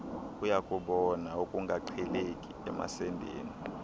uyakubona ukungaqheleki emasendeni